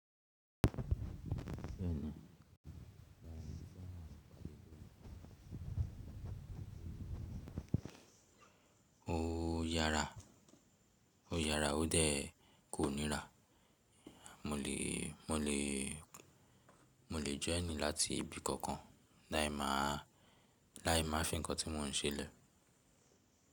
Ó yara, ó yara, ó dé kò níra. Mo lè, mo lè, mo lè jẹ́ ẹni láti ibì kankan láì máa fi nkan tí mọ n ṣe lè.